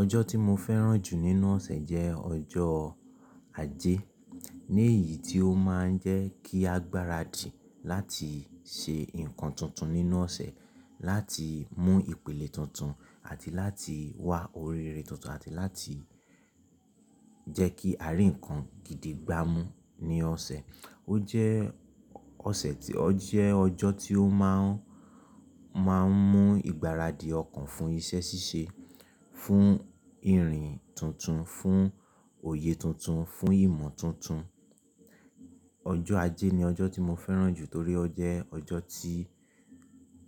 Ọjọ́ tí mo fẹ́ràn jù nínú ọ̀sẹ̀ jẹ́ ọjọ́ ajé. Ní èyí tí ó máa ń jẹ́ kí a gbáradì láti ṣe nǹkan tuntun nínú ọ̀sẹ̀, láti mú ìpìlẹ̀ tuntun àti láti wá ọ̀ri re tuntun àti láti jẹ́ kí àríǹkan gidi gbámú ní ọ̀sẹ̀. Ó jẹ́ ọ̀sẹ̀ tí ó jẹ́ ọjọ́ tí ó máa ń, máa ń mú ìgbáradì ọkàn fún iṣẹ́ ṣíṣe, fún ìrìn tuntun, fún òye tuntun, fún ìmọ̀ tuntun. Ọjọ́ ajé ni ọjọ́ tí mo fẹ́ràn jù torí ó jẹ́ ọjọ́ tí